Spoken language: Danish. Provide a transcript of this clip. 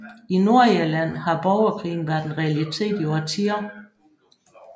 I Nordirland har borgerkrigen været en realitet i årtier